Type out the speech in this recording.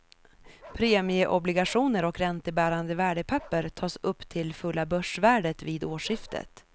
Premieobligationer och räntebärande värdepapper tas upp till fulla börsvärdet vid årsskiftet.